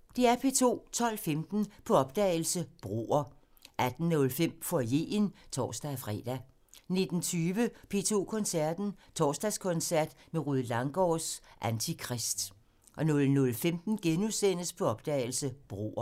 12:15: På opdagelse – Broer 18:05: Foyeren (tor-fre) 19:20: P2 Koncerten – Torsdagskoncert med Rued Langgaards Antikrist 00:15: På opdagelse – Broer *